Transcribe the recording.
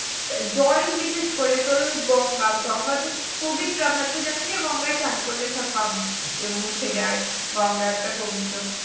জল বিশেষ করে তোর ওই গঙ্গা গঙ্গা তো পবিত্র আমরা তো জানি যে গঙ্গায় স্নান করলে সব পাপ মুছে যায় গঙ্গা একটা পবিত্র